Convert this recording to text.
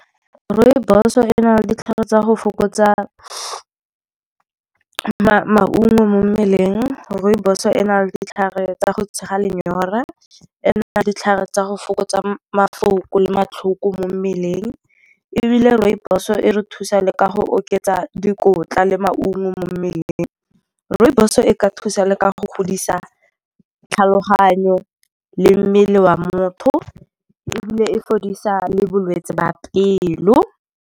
Rooibos-o e na le ditlhare tsa go fokotsa maungo mo mmeleng. Rooibos-o e na le ditlhare tsa go tshega lenyora. E na le ditlhare tsa go fokotsa mafoko le matlhoko mo mmeleng. Ebile rooibos-o e re thusa le ka go oketsa dikotla le maungo mo mmeleng. Rooibos-o e ka thusa le ka go godisa tlhaloganyo le mmele wa motho, ebile e fodisa le bolwetse ba pelo.